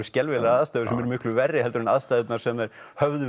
skelfilegar aðstæður sem eru miklu verri en aðstæðurnar sem þau höfðu